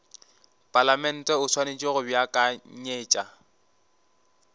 palamente o swanetše go beakanyetša